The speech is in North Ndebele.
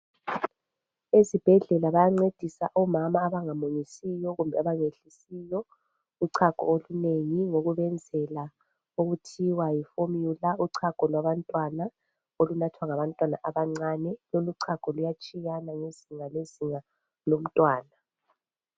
ezibhedlela bayancedisa omama abangamunyisiyo kumbe abangehlisiyo uchago olunengi ngokubenzela okuthiwa yi formula uchago lwabantwana olunathwa ngabantwana abancane lolu chago luyatshiyana ngezinga ngezinga lomntwana